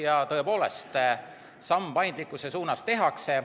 Ja tõepoolest samm paindlikkuse suunas tehakse.